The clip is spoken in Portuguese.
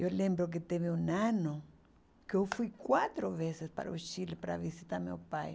Eu lembro que teve um ano que eu fui quatro vezes para o Chile para visitar meu pai.